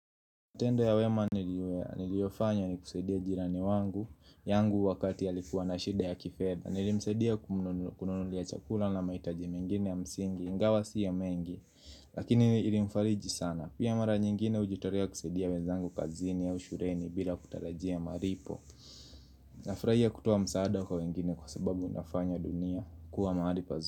Tendo ya wema niliofanya ni kusaidia jirani wangu yangu wakati alikuwa na shida ya kifedha Nilimsadia kumnunulia chakula na maitaji mingine ya msingi ingawa si ya mengi Lakini ilimfariji sana Pia mara nyingine ujitolea kusadia wezangu kazini au shuleni bila kutarajia malipo Nafurahia kutoa msaada kwa wengine kwa sababu unafanya dunia kuwa mahali pazuri.